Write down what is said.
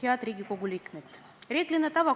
Head Riigikogu liikmed!